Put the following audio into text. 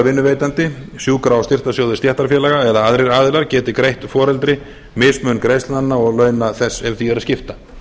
vinnuveitandi sjúkra og styrktarsjóðir stéttarfélaga eða aðrir aðilar geti greitt foreldri mismun greiðslnanna og launa þess ef því er að skipta